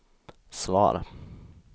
svar